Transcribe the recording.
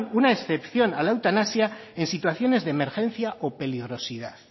una excepción a la eutanasia en situaciones de emergencia o peligrosidad